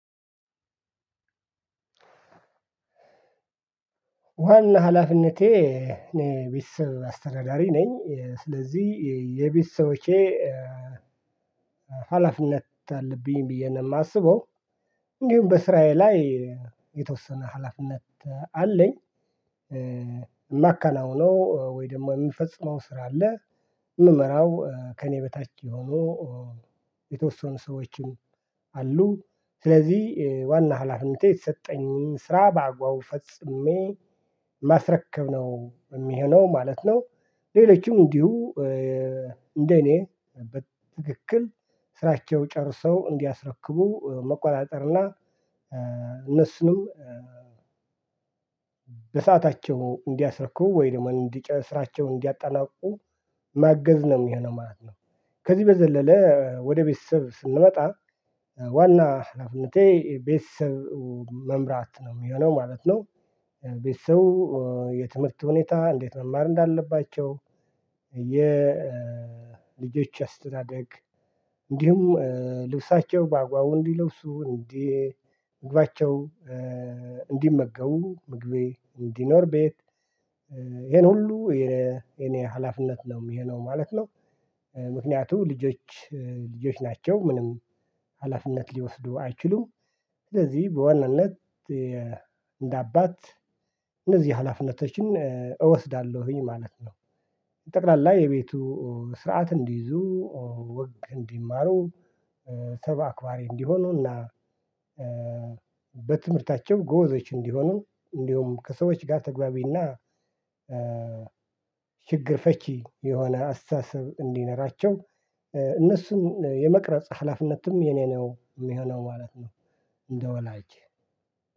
ዋና ሀላፊነቴ እኔ የቤተ ሰብ አስተዳዳሪ ነኝ ስለዚህ የቤተሰቦቼ ሀላፊነት አለብኝ ብዬ ነው የማስበው። እንዲሁም በስራየ ላይ የተወሰነ ሀላፊነት አለኝ። የማከናው ወይም ደግሞ የምፈጽመው ስራ አለ የምመራው ከእኔ በታች የሆኑ የተወሰኑ ሰዎችም አሉ ስለዚህ ዋና ሀላፊነቴ የተሰጠኝን ስራ በአግባቡ ፈጽሜ ማስረከብ ነው የሚሆነው ማለት ነው። ሌሎችም እንዲሁ እንደ እኔ በትክክል ስራቸው ጨርሰው እንዲያስረክቡ መቆጣጠርና እነሱንም በሰአታቸው እንዲያስረክቡ ወይ ደግሞ እንዲ ስራቸው እንዲያጠናቅቁ ማገዝ ነው የሚሆነው ማለት ነው። ከዚህ በዘለለ ወደ ቤተሰብ ስንመጣ ዋና ሃላፍነቴ ቤተሰብ መምራት ነው የሚሆነው ማለት ነው። ቤተሰብ የትምህርት ሁኔታ እንዴት መማር እንዳለባቸው የልጆች አስተዳደግ እንዲሁም ልብሳቸው በአግባቡ እንዲለብሱ እንዲመገቡ ምግቤ እንዲኖር ቤት ይሄን ሁሉ የኔ ሀላፍነት ነው የሚሆነው ማለት ነው። ምክንያቱም ልጆች ልጆች ናቸው ምንም ሀላፊነት ሊወስዱ አይችሉም ስለዚህ በዋናነት እንደ አባት እነዚህ ሀላፊነቶችን እወስዳለሁኝ ማለት ነው። ጠቅላላ የቤቱ ስርዓት እንዲይዙ ወግ እንዲማሩ ሰብ አክባሪ እንዲሆኑና በትምህርታቸው ጎበዞች እንዲሆኑ እንዲሁም ከሰዎች ጋር ተግባቢና ችግር ፈቺ የሆነ አስተሳሰብ እንዲኖራቸው እነሱን የመቅረጽ ሃላፍነትም የኔ ነው የሚሆነው ማለት ነው። እንደወላጅ